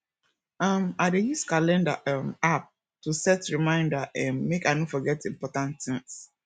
um i dey use calendar um app to set reminder um make i no forget important tins